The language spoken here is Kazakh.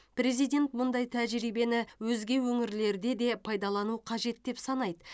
президент мұндай тәжірибені өзге өңірлерде де пайдалану қажет деп санайды